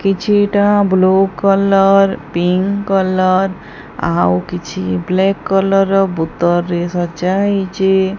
କିଛିଟା blue colour pink colour ଆଉ କିଛି ବ୍ଲେକ୍ କଲର୍ ର ବୁତର୍ ରେ ସଜାହେଇଚି।